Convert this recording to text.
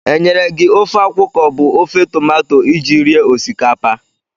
Enyere gị ofe akwụ ka ọ bụ ofe tomato iji rie osikapa?